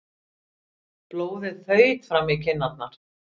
Blóðið þaut fram í kinnarnar.